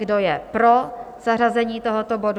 Kdo je pro zařazení tohoto bodu?